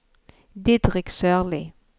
Didrik Sørli